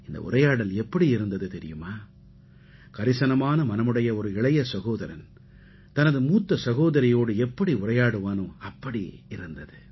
இந்த உரையாடல் எப்படி இருந்தது தெரியுமா கரிசனமான மனமுடைய ஒரு இளைய சகோதரன் தனது மூத்த சகோதரியோடு எப்படி உரையாடுவானோ அப்படி இருந்தது